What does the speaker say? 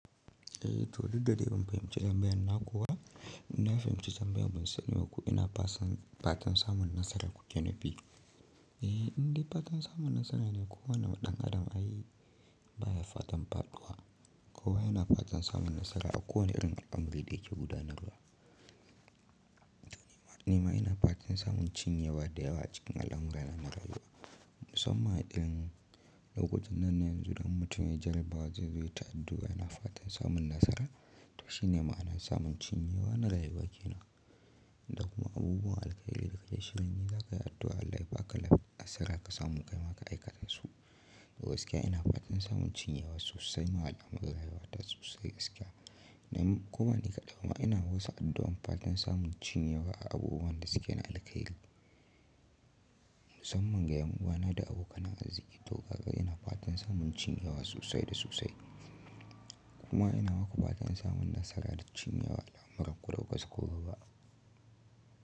Eh, to dudda dai ban fahimci tanbiyan na kuwa ina fahimci tanbiyan mu sani yau ko ina fatan samun nasara kuke nufi. Eh, inda fatan samun nasara ne ko wane ɗan adam ai baya fatan faɗuwa. Ko wa ina fatan samun nasara a kowane irin al'amurrei da yake gudanarwa. Nima ina fatan samun cinye waɗanda yawanci ƙanallan mu yana rera wa. Musamman irin lokacin nan yanzu ɗan mutum ya ji albawarsa zuwa ta addu'a ina fatan samun nasara. Ta shi ne ma'anar samun cinye wa na rayuwa ke nan. Da kuma abubuwan alƙa'ili da ke shirin yi za ka yi addu'a Allah ya ba ka lab asira ka samu kai maka aikata su. Da gaskiya ina fatan samun cinye wa sosai ma waɗannan maganganu rayuwa ta sosai gaskiya. Nam kuma ni kaɗai kuma ina wasa addu'an fatan samun cinye wa a abubuwan da suke na alka'ili. Musamman ga yawan da ake na aziki to gaga ina fatan samun cinye wa sosai da sosai. Kuma ina ma ku fatan samun nasara da cinye wa al'amuran ku da kuka so ku ba.